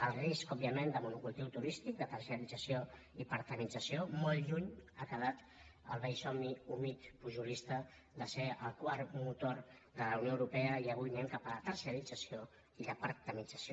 el risc òbviament de monocultiu turístic de terciarització i parctematitza·ció molt lluny ha quedat el vell somni humit pujo·lista de ser el quart motor de la unió europea i avui anem cap a la terciarització i la parctematització